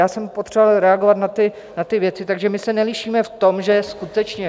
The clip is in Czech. Já jsem potřeboval reagovat na ty věci, takže my se nelišíme v tom, že skutečně...